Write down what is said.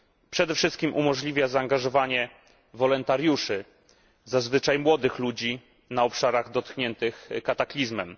Przede wszystkim umożliwia zaangażowanie wolontariuszy, zazwyczaj młodych ludzi na obszarach dotkniętych kataklizmem.